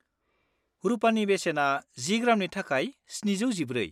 रुपानि बेसेना 10 ग्रामनि थाखाय 714/-।